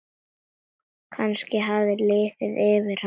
Kannski hafði liðið yfir hana.